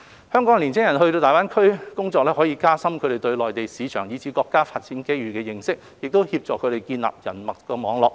香港青年人到大灣區工作，可以加深他們對內地市場，以至對國家發展機遇的認識，協助他們建立人脈網絡。